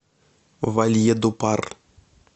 вальедупар